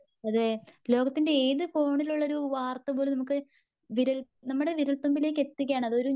അതെ ലോകത്തിന്റെ ഏത് കോണിലുള്ളൊരു വാർത്ത പോലും നമുക്ക് വിരൽ നമ്മുടെ വിരൽത്തുമ്പിലേക്ക് എത്തിക്കുകയാണ്.